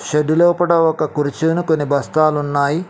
Shed లోపట ఒక కుర్చీను కొని బస్తాలున్నాయి.